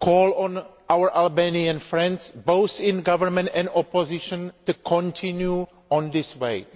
call on our Albanian friends, both in government and opposition, to continue along this path.